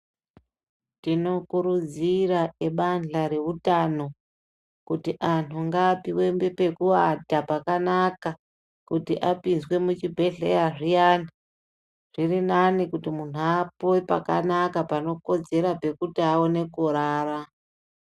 Tinokurudzira ebandhla reutano ,kuti anthu ngaapiwe pekuata pakanaka kuti apinzwe muchibhedhleya zviyani ,zvirinani kuti munthu apiwe pakanaka panokodzera pekuti aone kurara.